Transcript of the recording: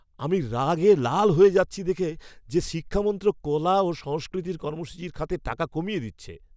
আমি রাগে লাল হয়ে যাচ্ছি দেখে যে শিক্ষা মন্ত্রক কলা ও সংস্কৃতির কর্মসূচির খাতে টাকা কমিয়ে দিচ্ছে!